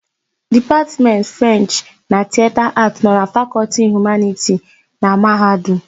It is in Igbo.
Dipatmentị Frenchị na Tiyeta Aatị nọ na Fakọltị Humaniti na Mahadum.